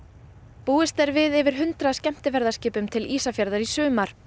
búist er við yfir hundrað skemmtiferðaskipum til Ísafjarðar í sumar